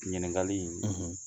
Ɲiningali in